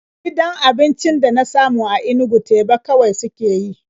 Gidan abincin da na samu a Inugu teba kawai suke yi.